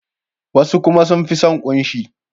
Wasu kuma sun fi son kunshi.